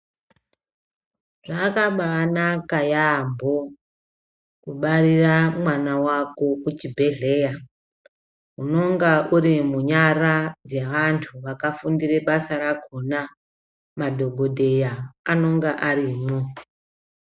Zvakabanaka yaamho kubarira mwana wako kuchibhehleya, unonga uri munyara dzeantu vakafundire basa rakhona. Madhokodheya anonga arimwo.